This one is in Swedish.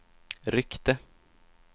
ryckte